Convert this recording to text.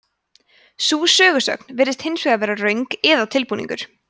sú sögusögn virðist hins vegar vera röng eða tilbúningur